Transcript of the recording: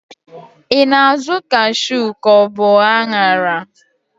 I na-azụ kashu ka ọ bu aṅara?